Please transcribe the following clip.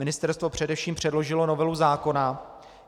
Ministerstvo především předložilo novelu zákona.